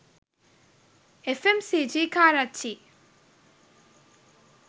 fmcg karachi